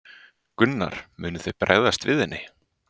Gunnar: Munið þið bregðast við henni?